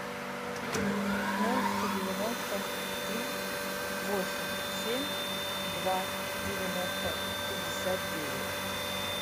ноль сто девяносто три восемь семь два девяносто пятьдесят девять